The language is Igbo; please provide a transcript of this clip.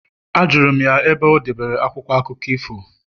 Ajụrụ m ya ebe o debere akwụkwọ akụkọ ifo